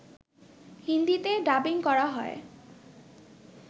হিন্দিতে ডাবিং করা হয়